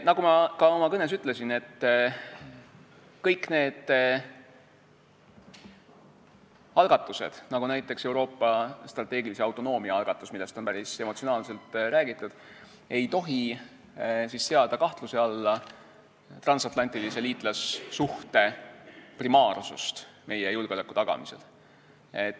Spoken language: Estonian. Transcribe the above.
Nagu ma ka oma kõnes ütlesin, kõik need algatused, nagu näiteks Euroopa strateegilise autonoomia algatus, millest on päris emotsionaalselt räägitud, ei tohi seada kahtluse alla transantlantilise liitlassuhte primaarsust meie julgeoleku tagamisel.